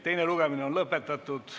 Teine lugemine on lõpetatud.